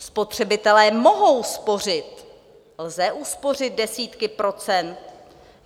Spotřebitelé mohou spořit, lze uspořit desítky procent.